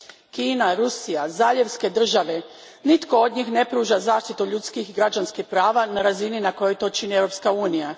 Kina, Rusija, zaljevske države nitko od njih ne pruža zaštitu ljudskih i građanskih prava na razini na kojoj to čini Europska unija.